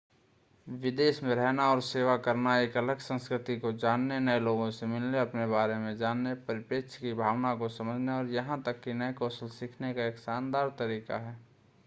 विदेश में रहना और सेवा करना एक अलग संस्कृति को जानने नए लोगों से मिलने अपने बारे में जानने परिप्रेक्ष्य की भावना को समझने और यहां तक कि नए कौशल सीखने का एक शानदार तरीका है